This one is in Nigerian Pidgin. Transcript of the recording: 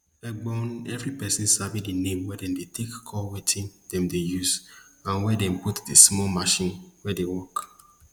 egbon evri persin sabi di name wey dem dey take call wetin dem dey use and wey dem put di small machine wey dey work